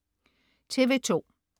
TV2: